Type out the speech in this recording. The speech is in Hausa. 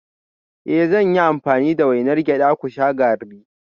Eh zan yi amfani da wainar gyada ku sha garri